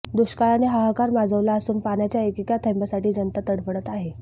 दुष्काळाने हाहाकार माजवला असून पाण्याच्या एकेका थेंबासाठी जनता तडफडत आहे